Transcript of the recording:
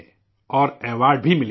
اور ایوارڈبھی ملے ہیں